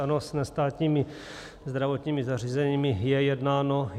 Ano, s nestátními zdravotnickými zařízeními je jednáno.